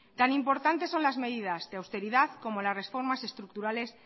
tan importante son las medidas de austeridad como las reformas estructurales